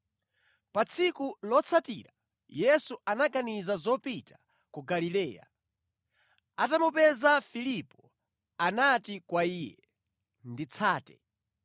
Pa tsiku lotsatira Yesu anaganiza zopita ku Galileya. Atamupeza Filipo, anati kwa iye, “Nditsate.”